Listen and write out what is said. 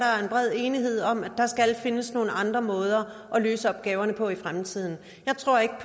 bred enighed om at der skal findes nogle andre måder at løse opgaverne på i fremtiden jeg tror ikke